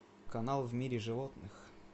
канал в мире животных